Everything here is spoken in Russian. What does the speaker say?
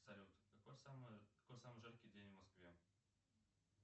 салют какой самый жаркий день в москве